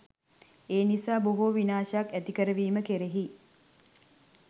ඒ නිසා බොහෝ විනාශයක් ඇති කරවීම කෙරෙහි